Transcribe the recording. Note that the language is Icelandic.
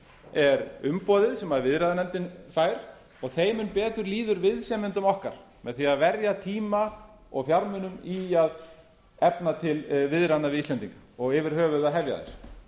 er umboðið sem viðræðunefndin fær og þeim mun betur líður viðsemjendum okkar með því að verja tíma og fjármunum í að efna til viðræðna við íslendinga og yfir höfuð að hefja þær